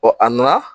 a nana